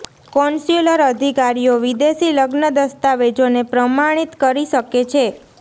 consular અધિકારીઓ વિદેશી લગ્ન દસ્તાવેજોને પ્રમાણિત કરી શકે છે